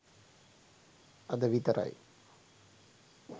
අද විතරයි